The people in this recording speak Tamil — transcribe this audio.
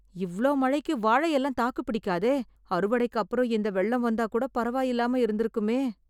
இவ்ளோ மழைக்கு வாழை எல்லாம் தாக்குப் பிடிக்காதே, அறுவடைக்கு அப்புறம் இந்த வெள்ளம் வந்தா கூடப் பரவாயில்லாம இருந்திருக்குமே.